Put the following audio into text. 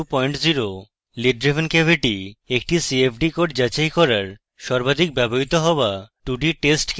lid driven cavity একটি cfd code যাচাই করার সর্বাধিক ব্যবহৃত হওয়া 2d টেস্ট কেস